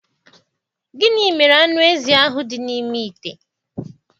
Gịnị mere anụ ezi ahụ dị n'ime ite?